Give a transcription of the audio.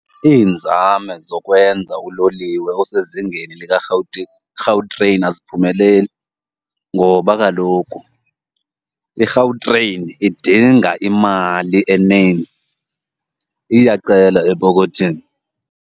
Iinzame zokwenza uloliwe osezingeni likaRhawutini Gautrain aziphumeleli ngoba kaloku iGautrain idinga imali eninzi, iyacela epokothini.